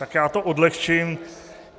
Tak já to odlehčím.